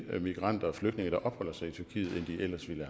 migranter og flygtninge der opholder sig i tyrkiet end de ellers ville